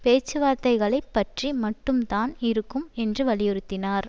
பேச்சுவார்த்தைகளை பற்றி மட்டும்தான் இருக்கும் என்று வலியுறுத்தினார்